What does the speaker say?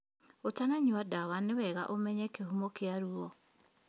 Ũtananyua ndawa nĩ wega ũmenye kĩhumo kĩa ruo